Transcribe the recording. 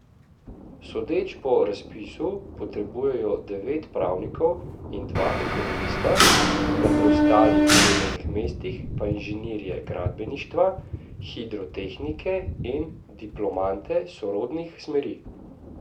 Sodeč po razpisu potrebujejo devet pravnikov in dva ekonomista, na preostalih delovnih mestih pa inženirje gradbeništva, hidrotehnike in diplomante sorodnih smeri.